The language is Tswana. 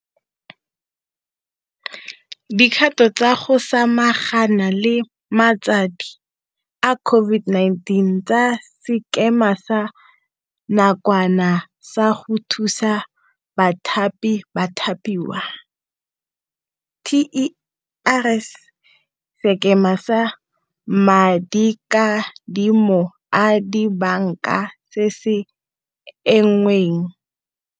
dikgato tsa go sama gana le matsadi a COVID-19 tsa Sekema sa Nakwana sa go Thusa Bathapi-Bathapiwa, TERS, Sekema sa Madikadimo a Dibanka se se Engweng.